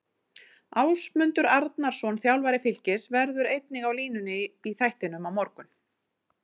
Ásmundur Arnarsson, þjálfari Fylkis, verður einnig á línunni í þættinum á morgun.